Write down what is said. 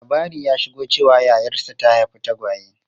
Labari ya shigo cewa yayarsa ta haifi tagwaye.